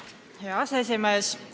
Hea aseesimees!